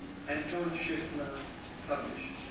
anton schiefner published